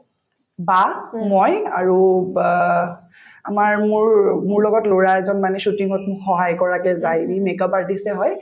বা মই আৰু বা আমাৰ মোৰ মোৰ লগত লৰা এজন মানে shooting ত মোক সহায় কৰাকে যায় ই make up artist য়ে হয়